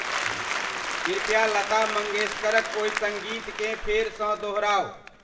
कृपया लता मंगेस्करक ओहि संगीतकें फेर सॅ दोहराउ।